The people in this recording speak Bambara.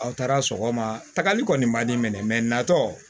Aw taara sɔgɔmatakali kɔni man di ne minɛ natɔ